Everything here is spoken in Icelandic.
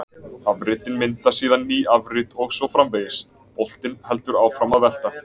Afritin mynda síðan ný afrit og svo framvegis: Boltinn heldur áfram að velta.